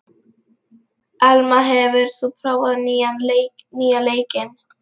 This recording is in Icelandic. Elma, hefur þú prófað nýja leikinn?